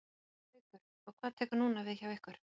Haukur: Og hvað tekur núna við hjá ykkur?